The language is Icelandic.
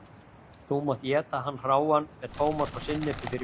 þú mátt éta hann hráan með tómat og sinnepi fyrir mér.